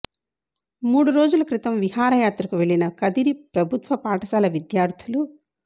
మూడు రోజుల క్రితం విహార యాత్రకు వెళ్లిన కదిరి ప్రభుత్వ పాఠశాల విద్యార్థులు